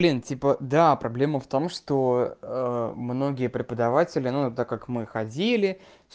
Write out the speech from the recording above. блин типа да проблема в том что многие преподаватели ну так как мы ходили